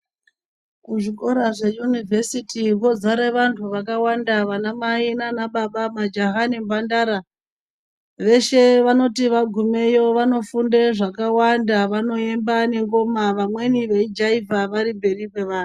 kuzvikora zveyunivhesiti vozare vanhu vakawanda vanamai nana baba majaya nemhandara veshe vanoti vagumeyo vanofunde zvakawanda vanoemba nengoma vamweni veijaivha varimberi kwevamwe .